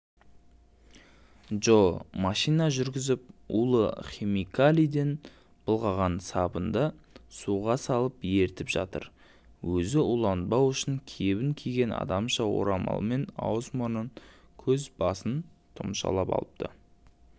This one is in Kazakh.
джо машина жүргізіп улы химикалиден былғаған сабынды суға салып ерітіп жатыр өзі уланбау үшін кебін киген адамша орамалмен аузы-мұрнын көзі-басын тұмшалап алыпты